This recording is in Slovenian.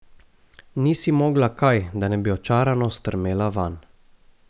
Ni si mogla kaj, da ne bi očarano strmela vanj.